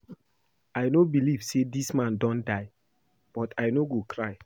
I no believe say dis man don die but I no go cry